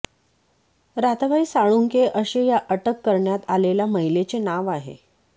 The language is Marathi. राधाबाई साळुंखे असे या अटक करण्यात आलेल्या महिलेचे नाव आहे